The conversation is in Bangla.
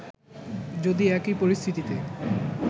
যদি একই পরিস্থিতিতে